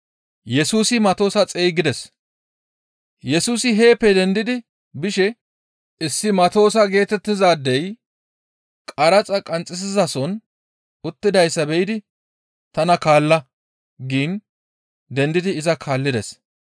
Yesusi heeppe dendidi bishe issi Matoosa geetettizaadey qaraxa qanxxisizason uttidayssa be7idi, «Tana kaalla!» giin dendidi iza kaallides.